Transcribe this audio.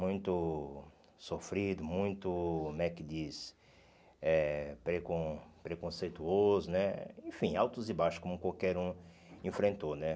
muito sofrido, muito, como é que diz, eh precon preconceituoso né, enfim, altos e baixos, como qualquer um enfrentou né.